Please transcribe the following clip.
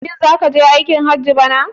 Shin za ku je aikin hajji a bana?